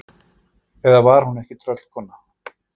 Eða var hún ekki tröllkona?